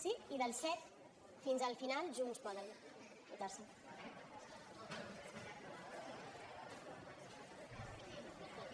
sí i del set fins al final junts poden votar se